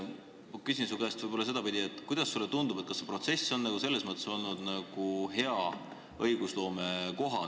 Ma küsin su käest sedapidi: kuidas sulle tundub, kas see protsess on selline, nagu hea õigusloome eeldab?